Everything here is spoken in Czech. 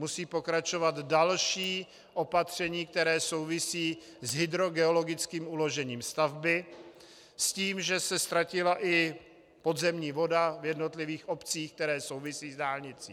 Musí pokračovat další opatření, která souvisí s hydrogeologickým uložením stavby, s tím, že se ztratila i podzemní voda v jednotlivých obcí, které souvisí s dálnicí.